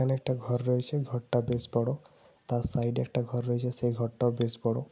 একটা ঘর রয়েছে। ঘরটা বেশ বড়। তার সাইডে একটা ঘর রয়েছে সেই ঘরটাও বেশ বড়।